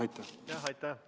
Aitäh!